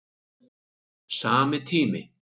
Sami tími